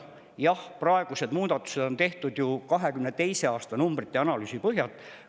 Jah, praegused muudatused on tehtud 2022. aasta numbrite ja analüüsi põhjal.